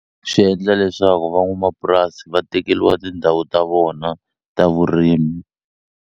Swi endla leswaku van'wamapurasi va tekeliwa tindhawu ta vona ta vurimi.